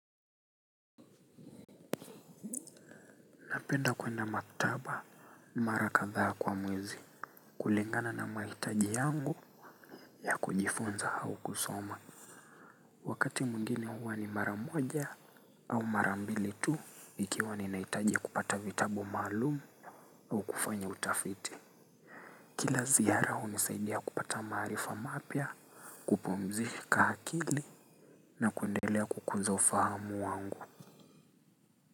Napenda kwenda maktaba mara kadhaa kwa mwezi kulingana na maitaji yangu ya kujifunza hau kusoma. Wakati mwingine huwa ni mara moja au mara mbili tu ikiwa ni naitaji kupata vitabu maalum au kufanya utafiti. Kila zihara hunisaidia kupata maarifa mapya, kupumzika akili na kuendelea kukuza ufahamu wangu.